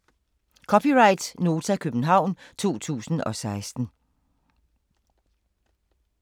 (c) Nota, København 2016